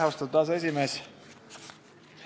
Austatud aseesimees!